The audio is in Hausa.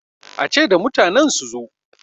a ce da mutanen su zo!